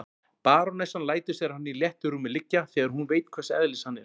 Barónessan lætur sér hann í léttu rúmi liggja, þegar hún veit hvers eðlis hann er.